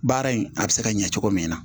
Baara in a bɛ se ka ɲɛ cogo min na